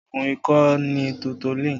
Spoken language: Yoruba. Oògùn ikọ́ ni Tutolin